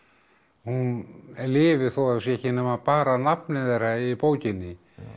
hún lifi þó það sé ekki nema bara nafnið þeirra í bókinni